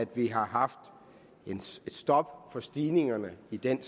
vi har haft et stop for stigningerne i den